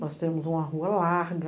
Nós temos uma rua larga,